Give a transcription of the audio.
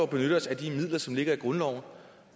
bare ved at sætte